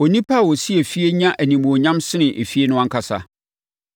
Onipa a ɔsi efie nya animuonyam sene efie no ankasa.